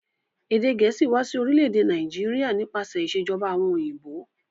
Èdè gẹ̀ẹ̀síì wa si orílẹ̀dè Naijiria nípasẹ̀ ìsèjoba àwon òyìnbó